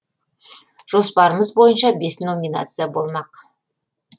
жоспарымыз бойынша бес номинация болмақ